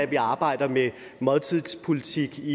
vi arbejder med måltidets politik